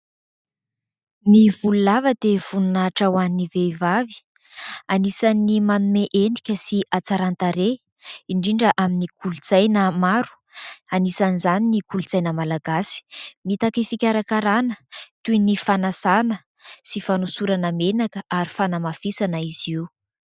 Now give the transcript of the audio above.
Ny volo lava dia voninahitra ho an'ny vehivavy. Anisan'ny manome endrika sy hatsaran-tarehy indrindra amin'ny kolontsaina maro anisan'izany ny kolontsaina malagasy. Mitaky fikarakarana toy ny fanasana sy fanosorana menaka ary fanamafisana izy io.